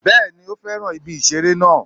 Bẹ́ẹ̀ni o fẹ́ràn ibi ìṣeré náà